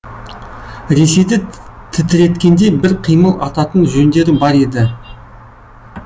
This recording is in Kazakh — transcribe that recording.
ресейді тітіреткендей бір қимыл ататын жөндері бар еді